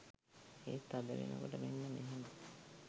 ඒත් අද වෙනකොට මෙන්න මෙහෙම